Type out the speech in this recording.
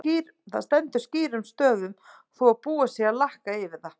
Það stendur skýrum stöfum þó að búið sé að lakka yfir það!